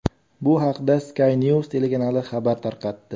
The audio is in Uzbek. Bu haqda Sky News telekanali xabar tarqatdi.